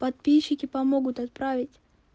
подписчики помогут отправить